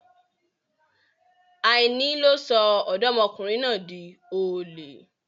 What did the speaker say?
Àìní ló sọ Ọ̀dọ́mọkùnrin náà di olè.